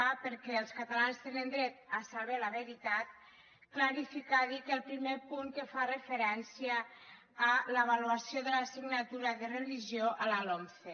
perquè els catalans tenen dret a saber la veritat clarificar dic el primer punt que fa referència a l’avaluació de l’assignatura de religió a la lomce